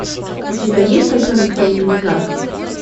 у тебя есть котенок по имени гав